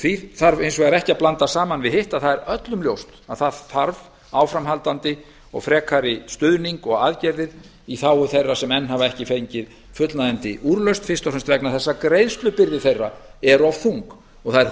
því þarf hins vegar ekki að blanda saman við hitt að öllum er ljóst að það þarf áframhaldandi og frekari stuðning og aðgerðir í þágu þeirra sem enn hafa ekki fengi fullnægjandi úrlausn fyrst og fremst vegna þess að greiðslubyrði þeirra er of þung það er